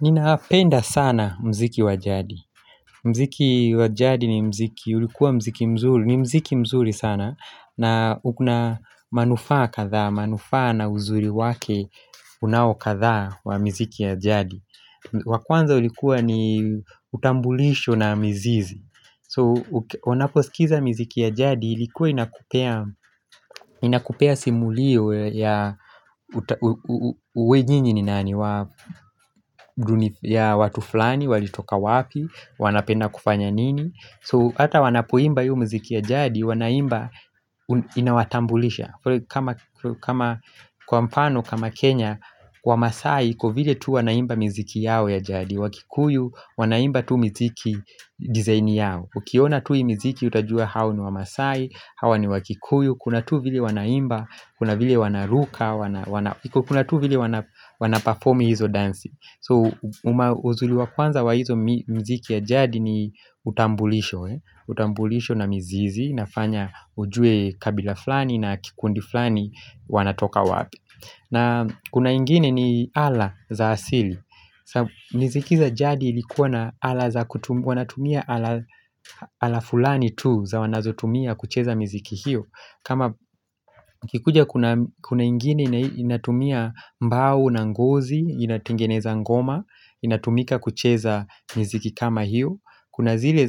Ninapenda sana muziki wa jadi. Muziki wa jadi ni muziki, ulikuwa muziki mzuri, ni muziki mzuri sana, na kuna manufaa kadhaa, manufaa na uzuri wake unao kadhaa wa miziki ya jadi. Wa kwanza ulikuwa ni utambulisho na mizizi. So unaposikiza miziki ya jadi Ilikuwa inakupea simulio ya uwe nyinyi ni nani ya watu fulani walitoka wapi, wanapenda kufanya nini. So hata wanapoimba hiyo muziki ya jadi wanaimba inawatambulisha kama Kwa mfano kama Kenya, Wamaasai iko vile tu wanaimba miziki yao ya jadi. Wakikuyu wanaimba tu miziki design yao. Ukiona tu hii miziki, utajua hao ni wamasai, hawa ni wakikuyu, kuna tu vile wanaimba, kuna vile wanaruka Kuna tu vile wana perform hizo dansi. So, uzuri wa kwanza wa hizo miziki ya jadi ni utambulisho utambulisho na meizizi inafanya ujue kabila fulani na kikundi fulani wanatoka wapi. Na kuna ingine ni ala za asili miziki za jadi ilikuwa na ala za kutumia, wanatumia ala ala fulani tu za wanazotumia kucheza miziki hiyo. Kama ikikuja kuna ingine inatumia mbao na ngozi, inatengeneza ngoma, inatumika kucheza miziki kama hiyot. Kuna zile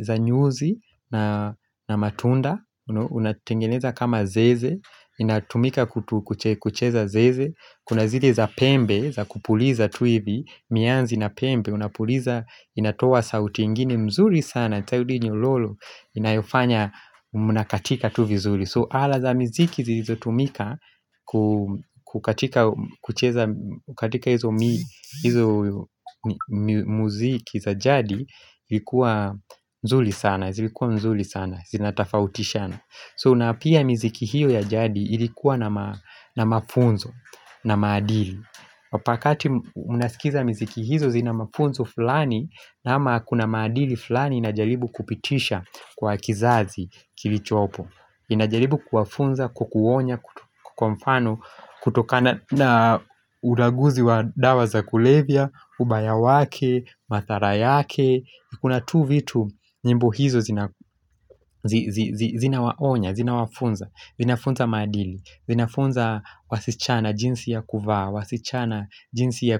za nyuzi na na matunda, unatengeneza kama zeze, inatumika kucheza zeze Kuna zile za pembe, za kupuliza tu hivi. Mianzi na pembe unapuliza inatoa sauti ingine mzuri sana. Tayudi nyororo, inayofanya mnakatika tu vizuri. So ala za miziki zilizotumika kukatika, kucheza, katika hizo muziki za jadi Ilikuwa nzuri sana, zilikuwa mzuri sana. Zinatofautishana, so na pia miziki hiyo ya jadi ilikuwa na na mafunzo na maadili. Wakati mnasikiza miziki hizo zina mafunzo fulani. Naam kuna maadili fulani inajaribu kupitisha kwa kizazi kilichopo Ninajaribu kuwafunza, kwa kuonya, kwa mfano kutokana na ulaguzi wa dawa za kulevya, ubaya wake, madhara yake, kuna tu vitu nyimbo hizo zinawaonya, zinawafunza, vinafunza maadili, vinafunza wasichana jinsi ya kuvaa, wasichana jinsi ya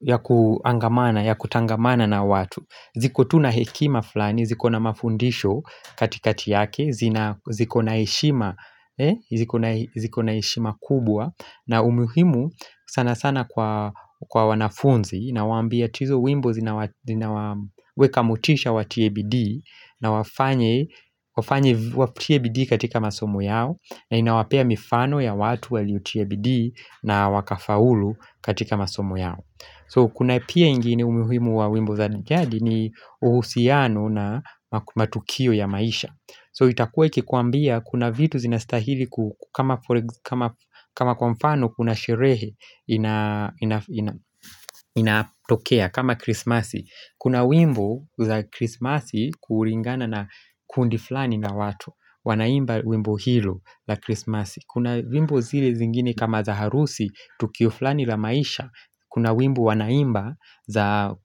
ya kuangamana, ya kutangamana na watu. Ziko tu na hekima flani, zikona mafundisho katikati yake, zikona heshima heshima kubwa na umuhimu sana sana kwa wanafunzi. Inawaambia hizo wimbo zinawaweka motisha watie bidii na wafanye, watie bidii katika masomo yao. Na inawapea mifano ya watu waliotia bidii na wakafaulu katika masomo yao. So kuna pia ingine umuhimu wa wimbo za jadi ni uhusiano na matukio ya maisha. So itakue ikikuambia kuna vitu zinastahili kama kama kwa mfano kuna sherehe inatokea kama krismasi. Kuna wimbo za krismasi kulingana na kundi flani la watu wanaimba wimbo hilo la krismasi. Kuna wimbo zile zingine kama za harusi tukio flani la maisha. Kuna wimbo wanaimba za,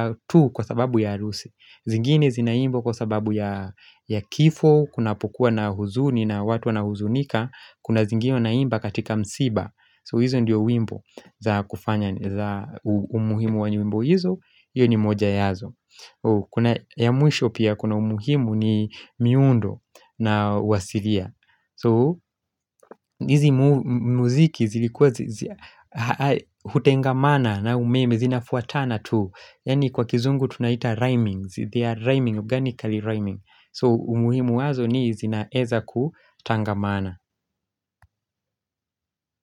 kwa tu kwa sababu ya harusi zingine zinaimbwa kwa sababu ya kifo kunapokuwa na huzuni na watu wanahuzunika. Kuna zingine unaimba katika msiba. So hizo ndiyo wimbo za umuhimu wa nyimbo hizo. Hiyo ni moja yazo. Kuna ya mwisho pia kuna umuhimu ni miundo na uwasilia. So hizi muziki zilikuwa hutengamana na umeme zinafuatana tu Yaani kwa kizungu tunaita rhyming. They are rhyming, organically rhyming. So umuhimu wazo ni zinaweza kutangamana.